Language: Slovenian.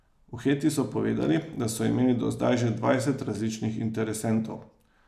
V Heti so povedali, da so imeli do zdaj že dvajset različnih interesentov.